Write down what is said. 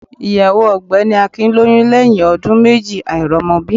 Ìyàwó ògbẹ́ni Akin lóyún lẹ́yìn ọdún méjì àìrọ́mọbí